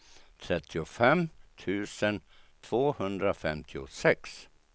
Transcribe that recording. trettiofem tusen tvåhundrafemtiosex